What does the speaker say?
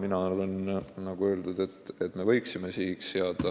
Mina arvan, nagu öeldud, et me võiksime sihiks seada,